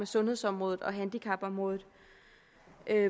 sundhedsområdet og handicapområdet